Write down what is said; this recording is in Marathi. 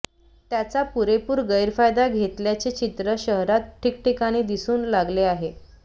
त्याचा पुरेपूर गैरफायदा घेतल्याचे चित्र शहरात ठिकठिकाणी दिसू लागले आहे